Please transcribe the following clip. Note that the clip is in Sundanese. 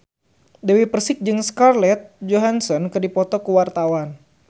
Dewi Persik jeung Scarlett Johansson keur dipoto ku wartawan